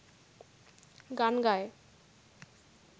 গান গায়